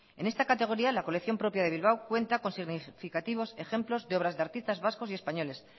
en esta categoría la colección propia de bilbao cuenta con significativos ejemplos de obras de artistas vascos y españoles